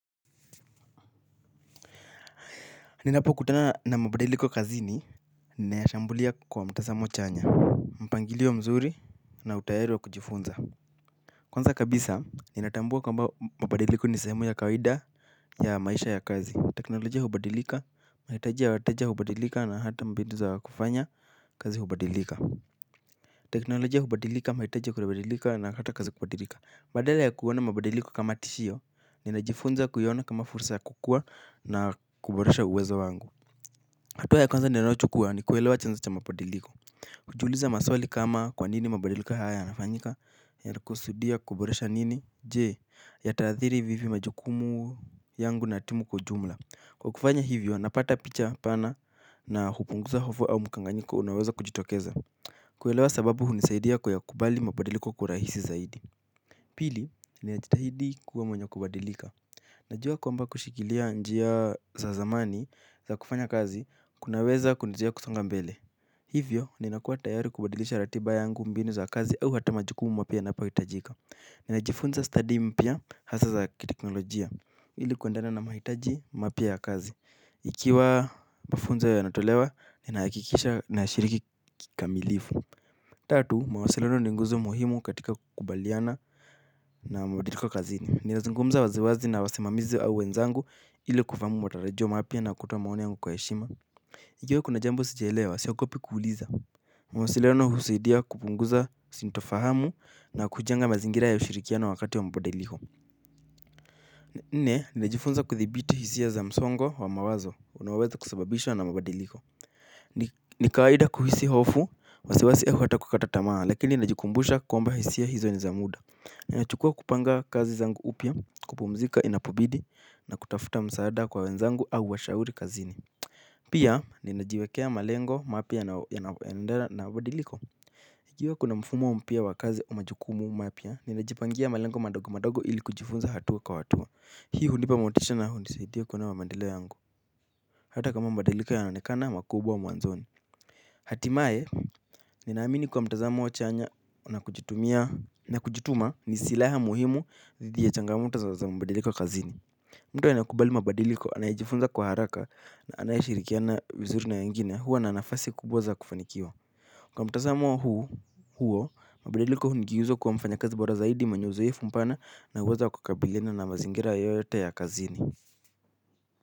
Ninapokutana na mabadiliko kazini, ninayashambulia kwa mtazamo chanya, mpangilio mzuri na utayari wa kujifunza. Kwanza kabisa, ninatambua kamba mabadiliko ni sehemu ya kawaida ya maisha ya kazi. Teknolojia hubadilika, mahitaji ya wateja hubadilika na hata mbinu za kufanya kazi hubadilika. Teknolojia hubadilika, mahitaji kubalika na hata kazi kubalika. Badala ya kuona mabadiliko kama tishio, ninajifunza kuiona kama fursa ya kukua na kuboresha uwezo wangu. Hatua ya kwanza ninayochukua ni kuelewa chanzo cha mabadiliko. Kujiuliza maswali kama kwa nini mabadilika haya yanafanyika. Yanakusudia kuboresha nini. Je, yataadhiri vipi majukumu yangu na timu kwa ujumla. Kwa kufanya hivyo, napata picha pana na hupunguza hofu au mukanganyiko unaweza kujitokeza. Kuelewa sababu hunisaidia kuyakukubali mabadiliko kwa urahisi zaidi. Pili, ni ajitahidi kuwa mwenye kubadilika. Najua kwamba kushikilia njia za zamani za kufanya kazi kunaweza kunizuia kusonga mbele. Hivyo, ninakua tayari kubadilisha ratiba yangu mbinu za kazi au hata majukumu mapya yanapohitajika. Ninajifunza stadi mpya hasa za kiteknolojia. Ili kuendana na mahitaji mapya ya kazi ikiwa mafunzo yanatolewa, ninahakikisha nashiriki kikamilifu. Tatu, mawasiliano ni nguzo muhimu katika kukubaliana na mabadiliko kazini. Ninazungumza waziwazi na wasimamizi na wenzangu ili kufahamu matarajio mapya na kutoa maoni yangu kwa heshima ikiwa kuna jambo sijaelewa siogopi kuuliza. Mwasiliano husaidia kupunguza sintofahamu na kujenga mazingira ya ushirikiano wakati wa mabadiliko. Nne, ninajifunza kuthibiti hisia za msongo wa mawazo, unaoweza kusababishwa na mabadiliko. Ni kawaida kuhisi hofu, wasiwasi au hata kukata tamaa, lakini najikumbusha kwamba hisia hizo ni za muda. Nachukua kupanga kazi zangu upya, kupumzika inapobidi, na kutafuta msaada kwa wenzangu au washauri kazini. Pia ninajiwekea malengo mapya yanayoendana na badiliko. Ikiwa kuna mfumo mpya wa kazi au majukumu mapya ninajipangia malengo madogo madogo ili kujifunza hatua kwa hatua. Hii hunipa motisha na hunisadia kuona maendeleo yangu. Hata kama badiliko yanaonekana makubwa wa mwanzoni. Hatimaye ninaamini kwa mtazamo wa chanya na kujutuma ni silaha muhimu dhidi ya changamto za mabadiliko kazini. Mtu anayekubali mabadiliko anayejifunza kwa haraka na anayeshirikiana vizuri na wengine huwa na nafasi kubwa za kufanikiwa kwa mtazamo huo, mabadiliko ndizo kwa mfanyikazi bora zaidi mwenye uzoefu mpana na uwezo wa kukabiliana na mazingira yoyote ya kazini.